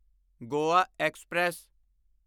Goa express